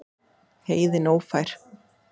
Heiðin ófær?